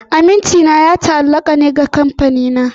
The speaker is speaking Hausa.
Amincina ya ta'allaka ne da Kamfanina.